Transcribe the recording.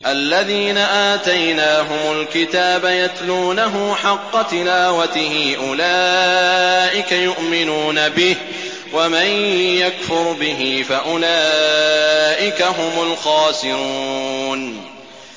الَّذِينَ آتَيْنَاهُمُ الْكِتَابَ يَتْلُونَهُ حَقَّ تِلَاوَتِهِ أُولَٰئِكَ يُؤْمِنُونَ بِهِ ۗ وَمَن يَكْفُرْ بِهِ فَأُولَٰئِكَ هُمُ الْخَاسِرُونَ